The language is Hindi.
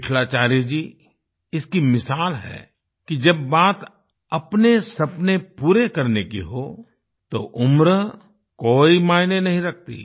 विट्ठलाचार्य जी इसकी मिसाल है कि जब बात अपने सपने पूरे करने की हो तो उम्र कोई मायने नहीं रखती